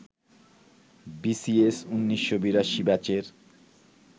BCS ১৯৮২ ব্যাচের